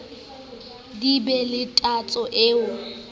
di be le tatso e